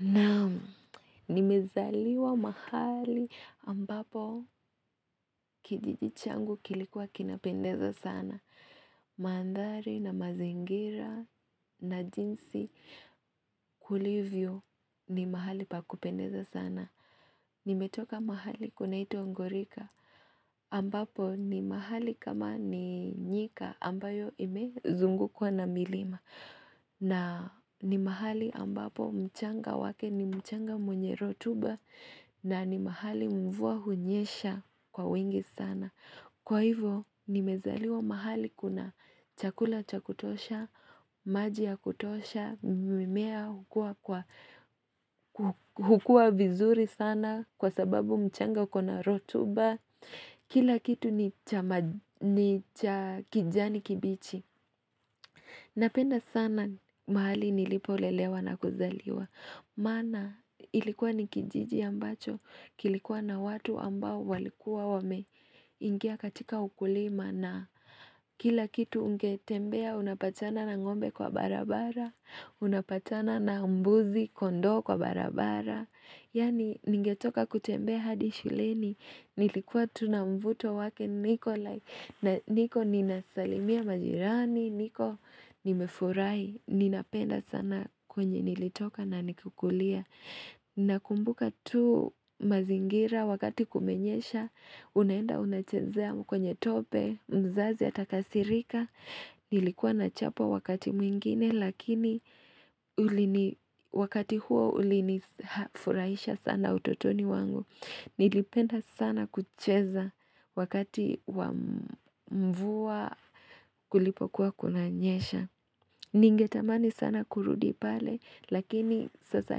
Naam. Nimezaliwa mahali ambapo kijiji changu kilikuwa kinapendeza sana. Mandhari na mazingira na jinsi kulivyo ni mahali pa kupendeza sana. Nimetoka mahali kunaitwa Ngorika ambapo ni mahali kama ni nyika ambayo imezungukwa na milima. Na ni mahali ambapo mchanga wake ni mchanga wenye rotuba na ni mahali mvua hunyesha kwa wingi sana. Kwa hivyo nimezaliwa mahali kuna chakula cha kutosha, maji ya kutosha, mimea hukua vizuri sana kwa sababu mchanga kuna rotuba. Kila kitu ni cha kijani kibichi. Napenda sana mahali nilipolelewa na kuzaliwa Maana ilikuwa ni kijiji ambacho kilikuwa na watu ambao walikuwa wameingia katika ukulima na kila kitu ungetembea unapatana na ng'ombe kwa barabara Unapatana na mbuzi, kondo kwa barabara Yani ningetoka kutembea hadi shuleni Nilikuwa tu na mvuto wake niko like niko ninasalimia majirani niko nimefurahi ninapenda sana kwenye nilitoka na kukulia Nakumbuka tu mazingira wakati kumenyesha unaenda unachezea kwenye tope mzazi atakasirika nilikuwa nachapwa wakati mwingine lakini wakati huo ulinifurahisha sana utotoni wangu Nilipenda sana kucheza wakati wa mvua kulipokuwa kuna nyesha. Ningetamani sana kurudi pale lakini sasa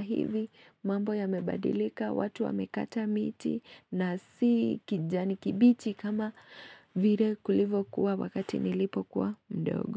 hivi mambo yamebadilika watu wa mekata miti na si kijani kibichi kama vile kulivyokuwa wakati nilipo kuwa mdogo.